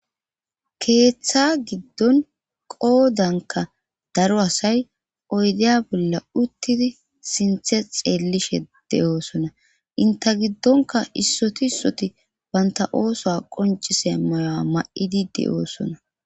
Keeththa giddon qoodanka daro asay oydeya bolla uttidi sinthe xeellishe de oosona inte giddonka issoti issoti baynta ooso qoncise mayoa ma'idide oosona.